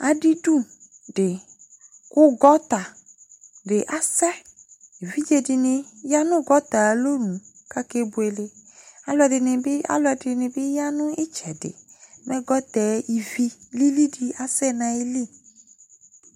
Adɩdu dɩ kʋ gɔta dɩ asɛ Evidze dɩnɩ ya nʋ gɔta yɛ ayʋ alɔnu Akebuele, alʋɛdɩnɩ bɩ, alʋɛdɩnɩ bɩ ya nʋ ɩtsɛdɩ Mɛ gɔta yɛ ivi lili dɩ asɛ nʋ ayili